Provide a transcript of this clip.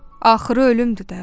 Axırı ölümdür də.